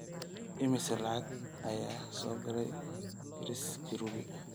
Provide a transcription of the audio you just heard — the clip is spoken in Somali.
immisa lacag ah ayaa soo galay chris kirubi?